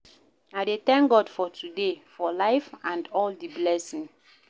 I dey tank God for today, for life and all di blessing.